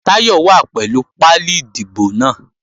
Táyọ̀ wà pẹ̀lú pálí ìdìbò náà